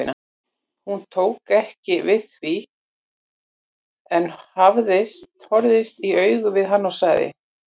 Hún tók ekki við því en horfðist í augu við hann og sagði